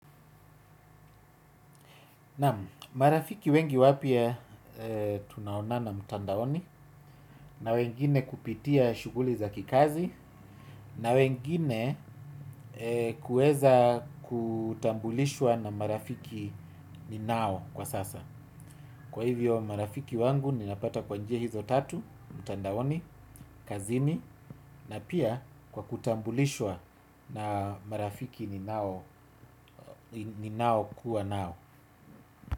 Naam, marafiki wengi wapya tunaonana mtandaoni na wengine kupitia shughuli za kikazi na wengine kuweza kutambulishwa na marafiki ninao kwa sasa. Kwa hivyo marafiki wangu ninapata kwa njia hizo tatu, mtandaoni, kazini na pia kwa kutambulishwa na marafiki ninao ninao kuwa nao.